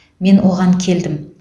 мен оған келдім